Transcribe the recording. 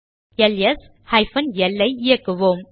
LS hyphen L I இயக்குவோம்